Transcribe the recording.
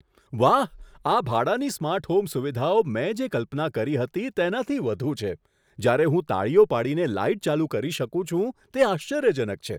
વાહ, આ ભાડાની સ્માર્ટ હોમ સુવિધાઓ મેં જે કલ્પના કરી હતી તેનાથી વધુ છે. જ્યારે હું તાળીઓ પાડીને લાઈટ ચાલુ કરી શકું છું તે આશ્ચર્યજનક છે!